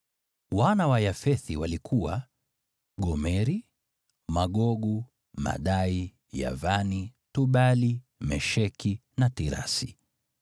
Wana wa Yafethi walikuwa: Gomeri, Magogu, Madai, Yavani, Tubali, Mesheki na Tirasi.